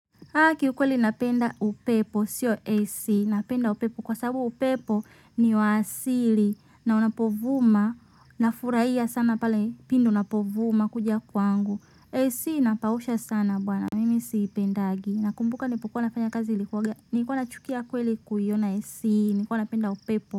Haki ukweli napenda upepo siyo AC napenda upepo kwa sababu upepo ni wa asili na unapovuma nafurahia sana pale pindi unapovuma kuja kwangu AC inapausha sana bwana mimi siipendagi nakumbuka nilipokuwa nafanya kazi nilikuwa nachukia kweli kuiona AC nilikwa napenda upepo.